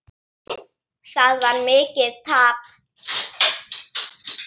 Það varð mikið tap.